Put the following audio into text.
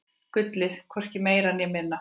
Gullið, hvorki meira né minna.